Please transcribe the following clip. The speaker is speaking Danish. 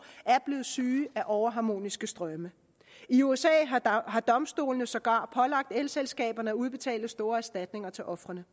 er blevet syge af overharmoniske strømme i usa har domstolene sågar pålagt elselskaberne at udbetale store erstatninger til ofrene